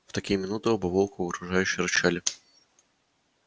в такие минуты оба волка угрожающе рычали